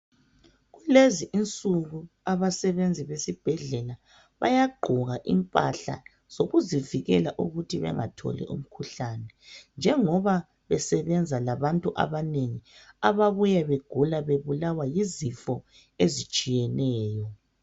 Kulezinsuku, abasebenzi besibhedlela bayagqoka impahla zokuzivikela ukuthi bangatholi umkhuhlane, njengoba besebenza labantu abanengi, ababuya begula, bebulawa yizifo ezitshiyeneyo.